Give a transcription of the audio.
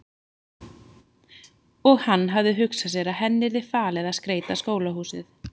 Og hann hafði hugsað sér að henni yrði falið að skreyta skólahúsið.